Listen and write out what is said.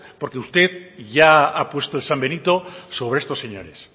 porque usted ya ha puesto el sambenito sobre estos señores